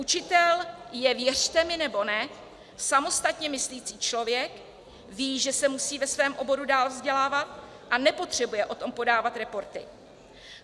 Učitel je, věřte mi nebo ne, samostatně myslící člověk, ví, že se musí ve svém oboru dál vzdělávat a nepotřebuje o tom podávat reporty.